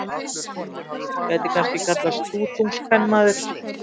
Þessi kona gæti kannski kallast stútungskvenmaður.